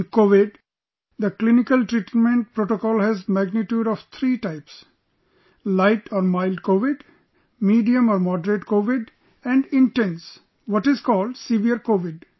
In Covid, the clinical treatment protocol has magnitude of three types light or mild Covid, medium or moderate Covid and intense, what is called severe Covid